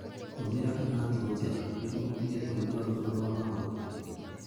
Hũthĩra iratũ njega nĩguo ũtige kũigua ruo rwa magũrũ.